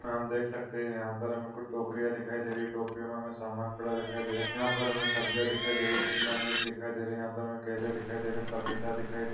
हम देख सकते है यहा पर हमें कुछ टोकरिया दिखाई दे रही है टोकरियों मे हमे सामान पड़ा दिखाई दे रहा है यहा पर हमे सब्जिया दिखाई दे रही है शिमला मिर्च दिखाई दे रही है यहा पर केले दिखाई दे रहे है पपीता दिखाई दे--